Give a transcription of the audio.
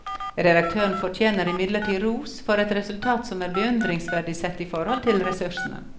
Redaktøren fortjener imidlertid ros for et resultat som er beundringsverdig sett i forhold til ressursene.